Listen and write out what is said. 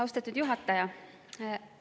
Austatud juhataja!